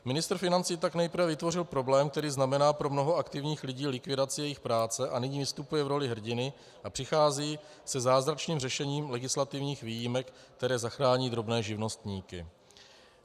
Ministr financí tak nejprve vytvořil problém, který znamená pro mnoho aktivních lidí likvidaci jejich práce, a nyní vystupuje v roli hrdiny a přichází se zázračným řešením legislativních výjimek, které zachrání drobné živnostníky.